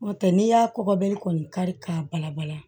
N'o tɛ n'i y'a kɔkɔ bi kɔni kari k'a bala bala